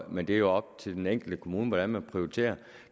men det er jo op til den enkelte kommune hvordan man prioriterer